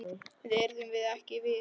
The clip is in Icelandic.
Þá yrðum við ekki við.